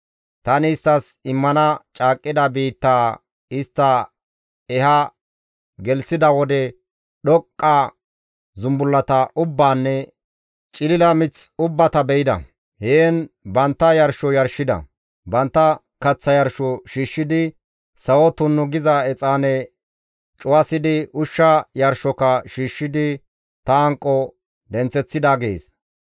Tani isttas immana caaqqida biittaa istta eha gelththida wode dhoqqu gida zumbullata ubbaanne cililo mith ubbata be7ida; heen bantta yarsho yarshida; bantta kaththa yarsho shiishshidi, sawo tunnu giza exaane cuwasidi, ushsha yarshoka shiishshidi ta hanqo denththeththida› gees.